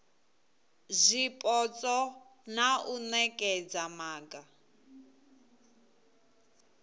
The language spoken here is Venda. zwipotso na u nekedza maga